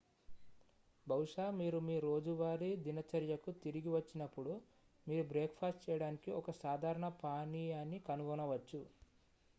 బహుశా మీరు మీ రోజువారీ దినచర్యకు తిరిగి వచ్చినప్పుడు మీరు బ్రేక్ ఫాస్ట్ చేయడానికి ఒక సాధారణ పానీయాన్ని కనుగొనవచ్చు